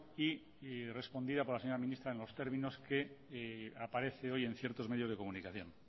y respondida por la señora ministra en los términos que aparece hoy en ciertos medios de comunicación